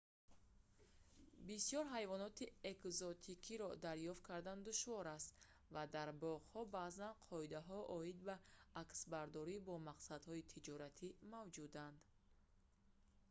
бисёр ҳайвоноти экзотикиро дарёфт кардан душвор аст ва дар боғҳо баъзан қоидаҳо оид ба аксбардорӣ бо мақсадҳои тиҷоратӣ мавҷуданд